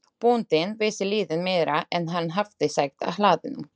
Bóndinn vissi lítið meira en hann hafði sagt á hlaðinu.